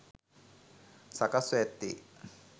සකස් ව ඇත්තේ